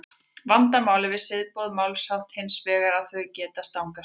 vandamálið við siðaboð málshátta er hins vegar að þau geta stangast á